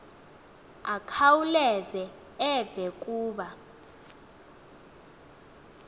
akhawuleze eve kuba